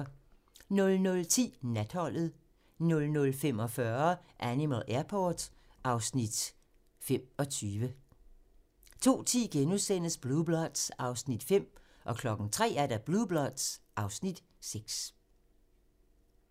00:10: Natholdet 00:45: Animal Airport (Afs. 25) 02:10: Blue Bloods (Afs. 5)* 03:00: Blue Bloods (Afs. 6)